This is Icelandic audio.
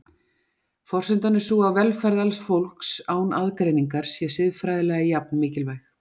Forsendan er sú að velferð alls fólks, án aðgreiningar, sé siðfræðilega jafn mikilvæg.